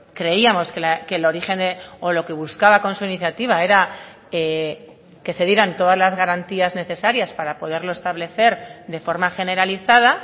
creíamos que el origen o lo que buscaba con su iniciativa era que se dieran todas las garantías necesarias para poderlo establecer de forma generalizada